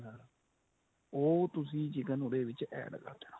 ਉਹ ਤੁਸੀਂ chicken ਉਹਦੇ ਵਿੱਚ add ਕਰਦੇਣਾ